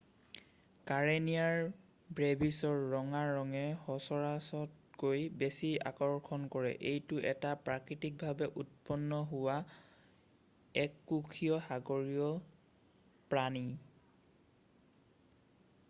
Karenia ব্ৰেভিছৰ ৰঙা ৰঙে সচৰাচৰতকৈ বেছি আকৰ্ষণ কৰে এইটো এটা প্ৰাকৃতিকভাৱে উৎপন্ন হোৱা এককোষীয় সাগৰীয় প্ৰাণী